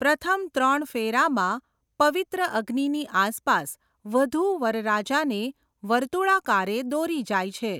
પ્રથમ ત્રણ ફેરામાં પવિત્ર અગ્નિની આસપાસ વધૂ વરરાજાને વર્તુળાકારે દોરી જાય છે.